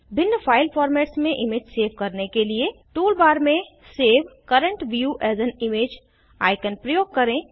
भिन्न file formats में image save करने के लिए टूल बार में save current view as an image icon प्रयोग करें